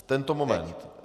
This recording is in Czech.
V tento moment.